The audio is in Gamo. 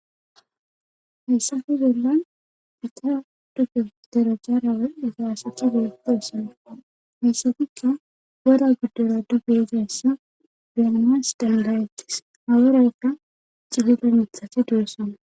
Hayssafe bellan pita duge derojaarawe igaasati geepeesana hayssafikka woda giddora dubge izayssa bianamas danbayetis haworayka cihida mithati du7essana.